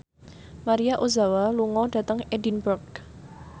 Maria Ozawa lunga dhateng Edinburgh